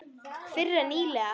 Fyrr en nýlega.